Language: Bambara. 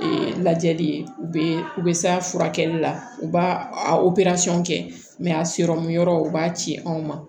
lajɛli ye u bɛ u bɛ s'a furakɛli la u b'a a kɛ a sirɔmu yɔrɔ o b'a ci anw ma